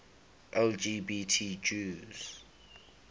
lgbt jews